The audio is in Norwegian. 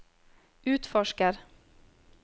utforsker